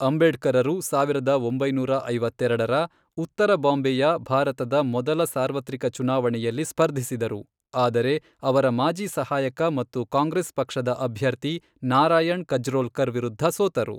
ಅಂಬೇಡ್ಕರರು, ಸಾವಿರದ ಒಂಬೈನೂರ ಐವತ್ತೆರಡರ, ಉತ್ತರ ಬಾಂಬೆಯ ಭಾರತದ ಮೊದಲ ಸಾರ್ವತ್ರಿಕ ಚುನಾವಣೆಯಲ್ಲಿ ಸ್ಪರ್ಧಿಸಿದರು, ಆದರೆ ಅವರ ಮಾಜಿ ಸಹಾಯಕ ಮತ್ತು ಕಾಂಗ್ರೆಸ್ ಪಕ್ಷದ ಅಭ್ಯರ್ಥಿ ನಾರಾಯಣ್ ಕಜ್ರೋಲ್ಕರ್ ವಿರುದ್ಧ ಸೋತರು.